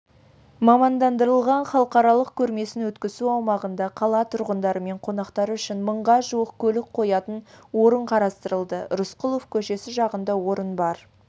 мамандандырылған халықаралық көрмесін өткізу аумағында қала тұрғындары мен қонақтары үшін мыңға жуық көлік қоятын орын қарастырылды рысқұлов көшесі жағында орын бар